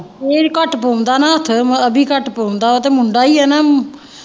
ਇਹ ਘੱਟ ਪਾਉਂਦਾ ਨਾ ਹੱਥ ਅਭੀ ਘੱਟ ਪਾਉਂਦਾ ਤੇ ਮੁੰਡਾ ਹੀ ਆ ਨਾ।